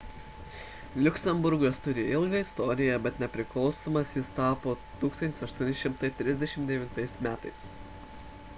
liuksemburgas turi ilgą istoriją bet nepriklausomas jis tapo 1839 m